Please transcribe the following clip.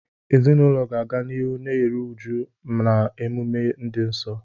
Ezinụlọ ga-aga n'ihu na-eru uju na emume dị nsọ.